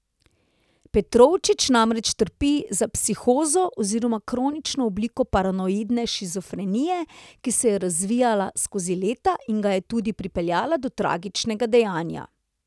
Petrovčič namreč trpi za psihozo oziroma kronično obliko paranoidne shizofrenije, ki se je razvila skozi leta in ga je tudi pripeljala do tragičnega dejanja.